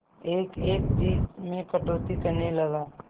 एक एक चीज में कटौती करने लगा